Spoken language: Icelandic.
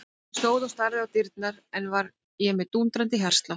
Ég stóð og starði á dyrnar og enn var ég með dúndrandi hjartslátt.